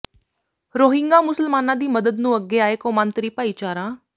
Rohingya ਮੁਸਲਮਾਨਾਂ ਦੀ ਮਦਦ ਨੂੰ ਅੱਗੇ ਆਏ ਕੌਮਾਂਤਰੀ ਭਾਈਚਾਰਾ